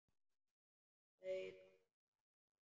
Þau ganga út.